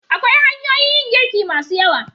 Akwai hanyoyin yin girki masu yawa.